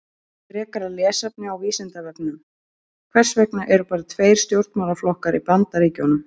Frekara lesefni á Vísindavefnum: Hvers vegna eru bara tveir stjórnmálaflokkar í Bandaríkjunum?